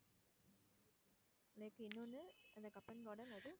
lake இன்னொன்னு Cubbon garden அது